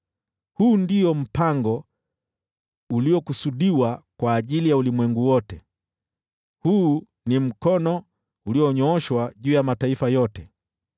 Huu ndio mpango uliokusudiwa kwa ajili ya ulimwengu wote, huu ni mkono ulionyooshwa juu ya mataifa yote.